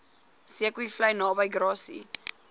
zeekoevlei naby grassy